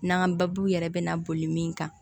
N'an ka baabu yɛrɛ bɛna boli min kan